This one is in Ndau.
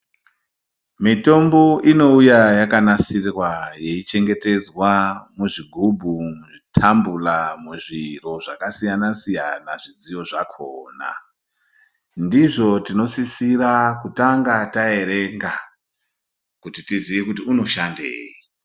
Mitombo inouya yakanasirwa yeichengetedzwa muzvigubhu, muzvi tambula, muzviro zvakasiyana siyana zvidziyo zvakona. Ndizvo tinosisira kutanga taerenga kuti tiziye kuti unoshandei.